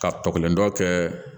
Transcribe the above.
Ka tɔgɔlen dɔ kɛ